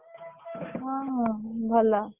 ହଁ ହଁ ଭଲ।